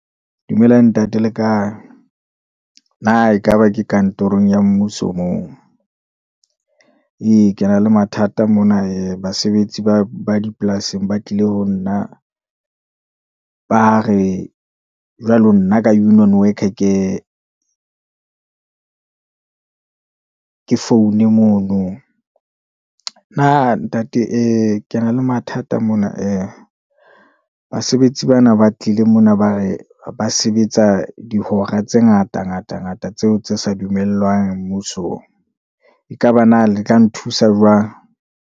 Dumela ntate le kae, na ekaba ke kantorong ya mmuso moo. Ee ke na le mathata mona, ee basebetsi ba dipolasing ba tlile ho nna, ba re jwalo nna ka union worker ke foune mono. Na ntate ee ke na le mathata mona, ee basebetsi bana ba tlile mona ba re ba sebetsa dihora tse ngata, ngata, ngata tseo tse sa dumellwang mmusong. Ekaba na le tla nthusa jwang.